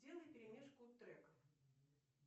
делай перемешку треков